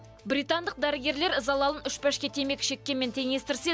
британдық дәрігерлер залалын үш пәшке темекі шеккенмен теңестірсе